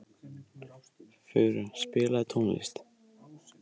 Fura, spilaðu tónlist.